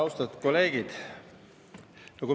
Austatud kolleegid!